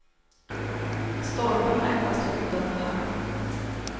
Stolpen var endast skyddad med halm.